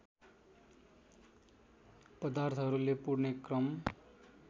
पदार्थहरूले पुर्ने क्रम